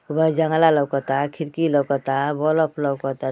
व जंगला लउकता खिड़की लउकता बलब लउकता।